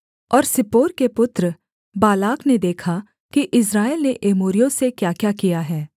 और सिप्पोर के पुत्र बालाक ने देखा कि इस्राएल ने एमोरियों से क्याक्या किया है